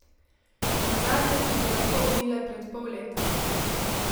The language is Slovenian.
Nazadnje so se lahko umile pred pol leta.